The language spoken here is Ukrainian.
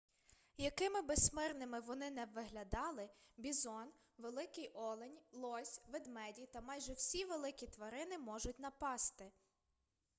якими би смирними вони не виглядали бізон великий олень лось ведмеді та майже всі великі тварини можуть напасти